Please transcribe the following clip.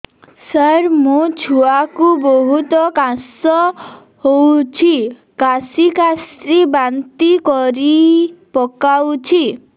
ସାର ମୋ ଛୁଆ କୁ ବହୁତ କାଶ ହଉଛି କାସି କାସି ବାନ୍ତି କରି ପକାଉଛି